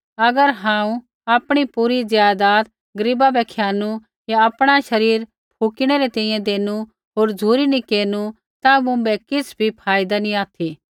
अगर हांऊँ आपणी पूरी ज़ायदात दौलत गरीबा बै खियानु या आपणा शरीर फुकिणै री तैंईंयैं देंनु होर झ़ुरी नी केरनु ता मुँभै किछ़ भी फाईदा नी ऑथि